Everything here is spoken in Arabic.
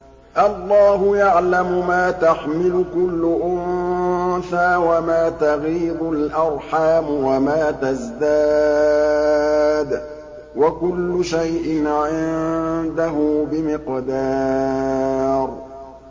اللَّهُ يَعْلَمُ مَا تَحْمِلُ كُلُّ أُنثَىٰ وَمَا تَغِيضُ الْأَرْحَامُ وَمَا تَزْدَادُ ۖ وَكُلُّ شَيْءٍ عِندَهُ بِمِقْدَارٍ